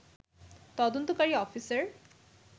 তদন্তকারী অফিসার